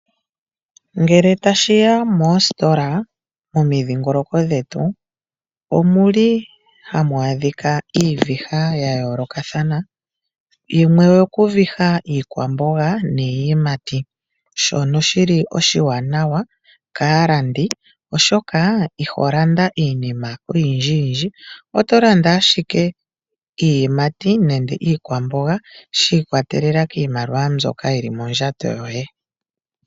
Ngele tashi ya moositola momidhingoloko dhetu omu li hamu adhika iiviha ya yoolokathana. Yimwe oyo ku viha iikwamboga niiyimati, shono shi li oshiwanawa kaalandi, oshoka iho landa iinima oyindjiyindji, oto landa ashike iiyimati nenge iikwamboga shi ikwatelela kiimaliwa mbyoka yi li mondjato yoye.